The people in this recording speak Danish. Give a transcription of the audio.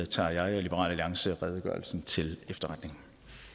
tager jeg og liberal alliance redegørelsen til efterretning